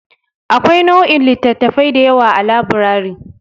Akwai nau'o'in littattafai da yawa a labirari.